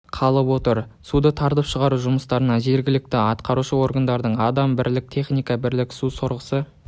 қалып отыр суды тартып шығару жұмыстарына жергілікті атқарушы органдардың адам бірлік техника бірлік су сорғысы